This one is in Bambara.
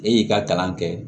E y'i ka kalan kɛ